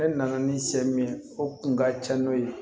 E nana ni se min ye o kun ka ca n'o ye